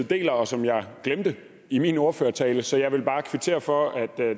deler og som jeg glemte i min ordførertale så jeg vil bare kvittere for at